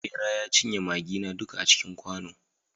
bera ya cinye maggina duka a cikin kwano